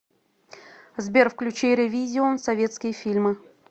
сбер включи рэвизион советские фильмы